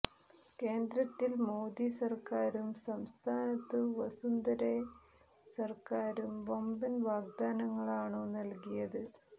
കേന്ദ്രത്തിൽ മോദി സർക്കാരും സംസ്ഥാനത്തു വസുന്ധരെ സർക്കാരും വമ്പൻ വാഗ്ദാനങ്ങളാണു നൽകിയത്